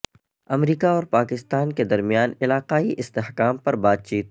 امریکہ اور پاکستان کے درمیان علاقائی استحکام پر بات چیت